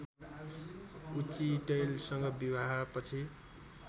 उचिटैलसँग विवाहपछि